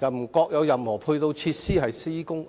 亦未見有任何配套設施在施工。